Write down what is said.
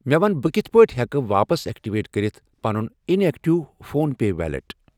مےٚ وَن بہٕ کِتھٕ پٲٹھۍ ہٮ۪کہٕ واپس ایکٹیویٹ کٔرِتھ پنُن inactive PhonePe wallet.